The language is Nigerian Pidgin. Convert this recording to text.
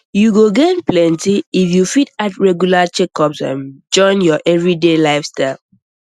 you go gain plenty if you fit add regular checkups um join your everyday lifestyle